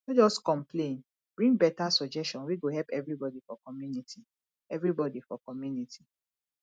no just complain bring better suggestion wey go help everybody for community everybody for community